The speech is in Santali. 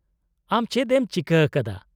- ᱟᱢ ᱪᱮᱫ ᱮᱢ ᱪᱤᱠᱟᱹ ᱟᱠᱟᱫᱟ ?